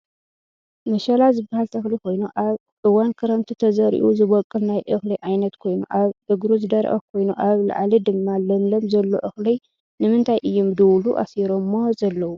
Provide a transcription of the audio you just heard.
መሸላ ዝብሃል ተክሊ ኮይኑ ኣብ እዋን ክረምቲ ተዘሪኡ ዝቦቅል ናይ እክሊ ዓይነት ኮይኑ ኣብ እግሩ ዝደረቀ ኮይኑ ኣብ ላዕሊ ድማ ለምለም ዘሎ እክሊ ንምንታይ እዩም ብድውሉ ኣሲሮሞ ዘለው?